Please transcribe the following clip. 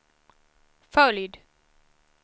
följd